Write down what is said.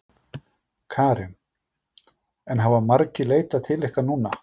Karen: En hafa margir leitað til ykkar núna?